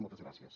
moltes gràcies